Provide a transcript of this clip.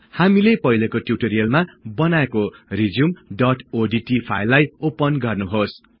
हामीले पहिलेको ट्उटोरियलमा बनाएको resumeओडीटी फाईललाई ओपन गर्नेछौं